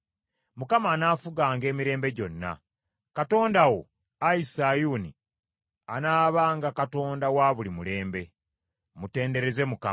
Mukama anaafuganga emirembe gyonna, Katonda wo, Ayi Sayuuni, anaabanga Katonda wa buli mulembe. Mutendereze Mukama !